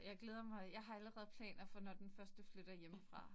Jeg glæder mig. Jeg har allerede planer for, når den første flytter hjemmefra